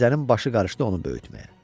Mirzənin başı qarışdı onu böyütməyə.